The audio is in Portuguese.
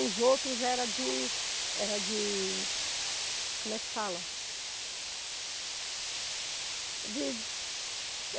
Os outros eram de, eram de, como é que fala? De